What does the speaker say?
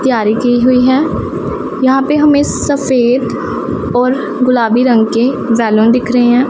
तैयारी की हुई है यहां पे हमें सफेद और गुलाबी रंग के बैलून दिख रहे हैं।